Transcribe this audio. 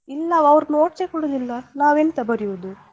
ಇಲ್ಲವ ಅವರು notes ಸೆ ಕೊಡುದಿಲ್ಲ ನಾವೆಂತ ಬರಿಯುದು.